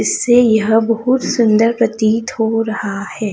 इससे यह बहुत सुंदर प्रतीत हो रहा है।